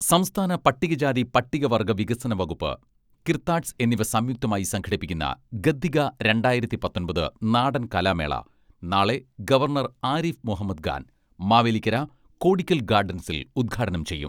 സംസ്ഥാന പട്ടികജാതി പട്ടികവർഗ്ഗ വികസന വകുപ്പ്, കിർത്താഡ്സ് എന്നിവ സംയുക്തമായി സംഘടിപ്പിക്കുന്ന ഗദ്ദിക രണ്ടായിരത്തി പത്തൊമ്പത് നാടൻ കലാമേള നാളെ ഗവർണർ ആരിഫ് മുഹമ്മദ് ഖാൻ മാവേലിക്കര കോടിക്കൽ ഗാഡൻസിൽ ഉദ്ഘാടനം ചെയ്യും.